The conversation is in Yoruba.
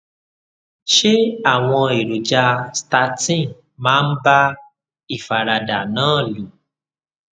ṣé àwọn èròjà statin máa ń bá ìfaradà náà lò